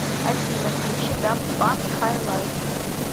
афина включи дафт панк хай лайф